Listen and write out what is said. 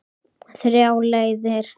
Þrjár leiðir.